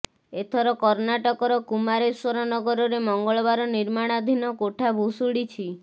ଏଥର କର୍ଣ୍ଣାଟକର କୁମାରେଶ୍ୱର ନଗରରେ ମଙ୍ଗଳବାର ନିର୍ମାଣାଧିନ କୋଠା ଭୁଶୁଡ଼ିଛି